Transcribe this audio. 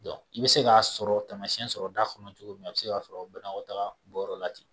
i bɛ se k'a sɔrɔ tamasi sɔrɔda fana bɛ cogo min a se b'a sɔrɔ la ten